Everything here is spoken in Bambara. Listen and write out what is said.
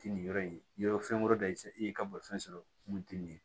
Ti nin yɔrɔ in ye yɔrɔ fɛn wɛrɛ da i fɛ i ye ka bolifɛn sɔrɔ mun tɛ nin ye